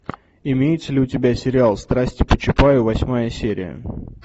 имеется ли у тебя сериал страсти по чапаю восьмая серия